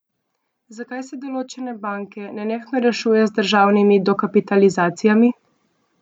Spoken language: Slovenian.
Zakaj se določene banke nenehno rešuje z državnimi dokapitalizacijami?